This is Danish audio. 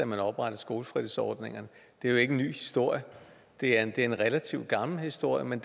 man oprettede skolefritidsordningerne det er jo ikke en ny historie det er en relativt gammel historie men